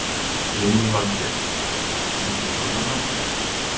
Lillý Valgerður: Muntu kjósa hann?